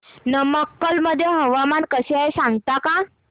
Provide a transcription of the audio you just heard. नमक्कल मध्ये हवामान कसे आहे सांगता का